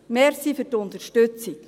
Danke für die Unterstützung.